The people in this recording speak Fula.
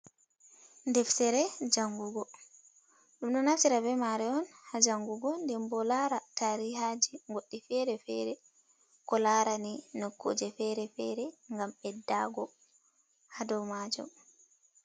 Deftere jangugo, dum do naftira be mari on ha jangugo, den bo lara tarihaji goddi fere-fere ko larani nokkuje fere-fere gam beddago ha do maju.